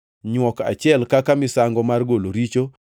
nywok achiel kaka misango mar golo richo;